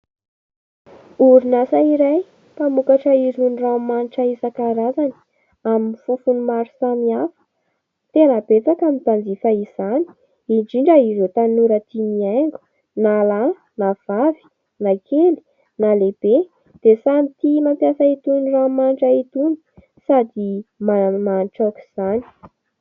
Orinasa iray mpamokatra irony ranomanitra isan-karazany, amin'ny fofony maro samihafa. Tena betsaka ny mpanjifa izany, indrindra ireo tanora tia mihaingo, na lahy na vavy, na kely na lehibe, dia samy tia mampiasa itony ranomanitra itony, sady manimanitra aok'izany.